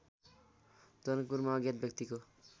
जनकपुरमा अज्ञात व्यक्तिको